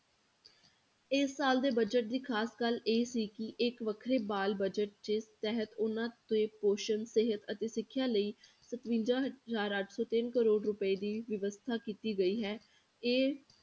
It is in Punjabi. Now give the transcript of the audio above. ਇਸ ਸਾਲ ਦੇ budget ਦੀ ਖ਼ਾਸ ਗੱਲ ਇਹ ਸੀ ਕਿ ਇੱਕ ਵੱਖਰੇ ਬਾਲ budget ਦੇ ਤਹਿਤ ਉਹਨਾਂ ਦੇ ਪੋਸ਼ਣ ਸਿਹਤ ਅਤੇ ਸਿੱਖਿਆ ਲਈ ਸਤਵੰਜਾ ਹਜ਼ਾਰ ਅੱਠ ਸੌ ਤਿੰਨ ਕਰੌੜ ਰੁਪਏ ਦੀ ਵਿਵਸਥਾ ਕੀਤੀ ਗਈ ਹੈ, ਇਹ